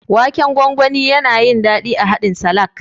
Waken gwangwani, yana yin daɗi a haɗin salak.